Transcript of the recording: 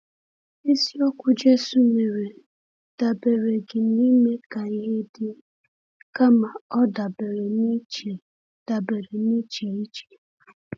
Isi okwu Jésù mere dabereghị n’ime ka ihe dị, kama ọ dabere n’iche dabere n’iche iche.